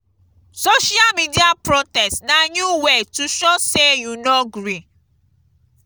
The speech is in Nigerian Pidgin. social media protest na new way to show sey you no gree.